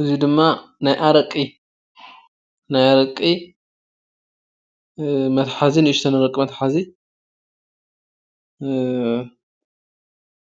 እዚ ድማ ናይ አረቂ መትሐዚ ንእሽተይ አረቂ መትሐዚ